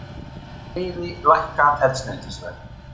Fleiri lækka eldsneytisverð